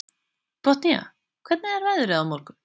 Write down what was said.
Botnía, hvernig er veðrið á morgun?